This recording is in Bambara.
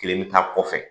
Kelen bɛ taa kɔfɛ